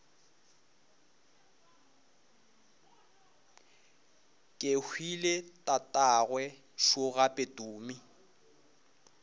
kehwile tatagwe šo gape tumi